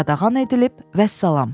Qadağan edilib, vəssalam.